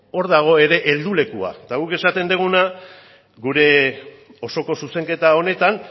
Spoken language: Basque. hor dago ere heldulekua eta guk esaten duguna gure osoko zuzenketa honetan